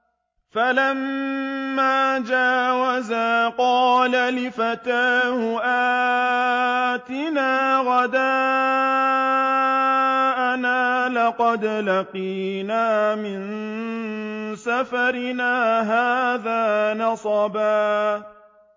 فَلَمَّا جَاوَزَا قَالَ لِفَتَاهُ آتِنَا غَدَاءَنَا لَقَدْ لَقِينَا مِن سَفَرِنَا هَٰذَا نَصَبًا